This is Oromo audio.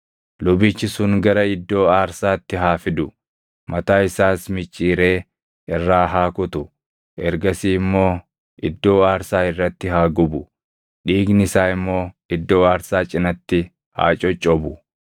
Lubichi sun gara iddoo aarsaatti haa fidu; mataa isaas micciiree irraa haa kutu; ergasii immoo iddoo aarsaa irratti haa gubu; dhiigni isaa immoo iddoo aarsaa cinatti haa coccobu.